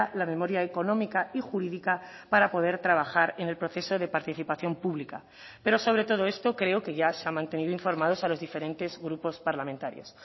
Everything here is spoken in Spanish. la memoria económica y jurídica para poder trabajar en el proceso de participación pública pero sobre todo esto creo que ya se ha mantenido informados a los diferentes grupos parlamentarios